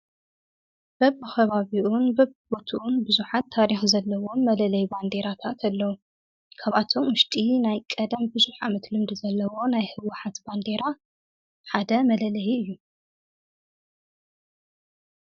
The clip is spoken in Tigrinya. በብኸባቢኡን በ ቦቱኡን ብዙኃት ታሪክ ዘለዎን መለለይ ባንዴራታትለዉ ካብኣቶም ውሽጢ ናይ ቀደም ብዙኅ መት ልምዲ ዘለዎ ናይ ሕዋኃት ባንዴራ ሓደ መለለይ እዩ።